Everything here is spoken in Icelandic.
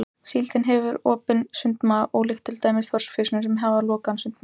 Síldin hefur opinn sundmaga ólíkt til dæmis þorskfiskum sem hafa lokaðan sundmaga.